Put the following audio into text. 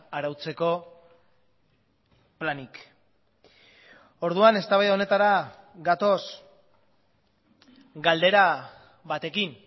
arautzeko planik orduan eztabaida honetara gatoz galdera batekin